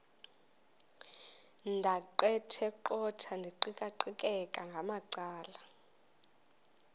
ndaqetheqotha ndiqikaqikeka ngamacala